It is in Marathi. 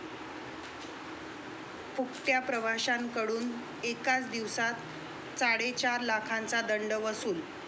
फुकट्या' प्रवाशांकडून एकाच दिवसात चाडेचार लाखांचा दंड वसूल